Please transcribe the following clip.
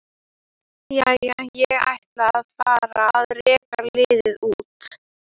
Jæja, ég ætla að fara að reka liðið út.